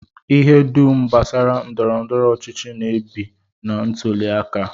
Ihe dum gbasara ndọrọndọrọ ọchịchị na-ebi na ntụli aka